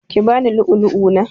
Ki bani lu'ulu'u na!